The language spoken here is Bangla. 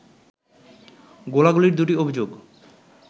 গোলাগুলির দুটি অভিযোগ